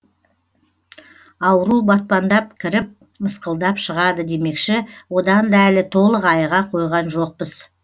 ауру батпандап кіріп мысқылдап шығады демекші одан да әлі толық айыға қойған жоқпыз